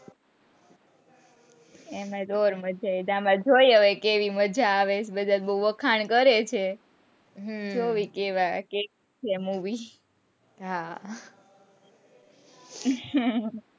એમાં ય જોવે કેવી મજા આવે છે બધા વખાણ કરે છે હમ જોઈએ કેવું છે movie